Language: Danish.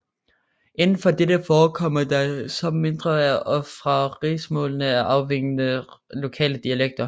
Indenfor dette forekommer der så mindre og fra rigsmålet afvigende lokale dialekter